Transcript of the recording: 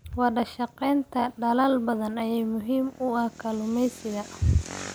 Wadashaqeynta dalal badan ayaa muhiim u ah kalluumeysiga.